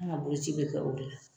Anw ka boloci bɛ kɛ o de la